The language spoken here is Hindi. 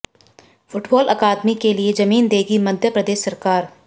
फुटबाल अकादमी के लिए जमीन देगी मध्य प्रदेश सरकार